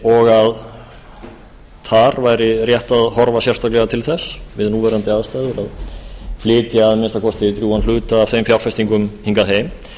og þar væri rétt að horfa sérstaklega til þess við núverandi aðstæður að flytja að minnsta kosti drjúgan hluta af þeim fjárfestingum hingað heim